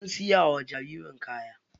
Sun siya wa jaririn kaya.